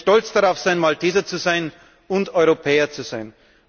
Sie können stolz darauf sein, Malteser zu sein und Europäer zu sein.